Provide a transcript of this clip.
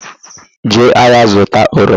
Jee ahịa zụta oroma!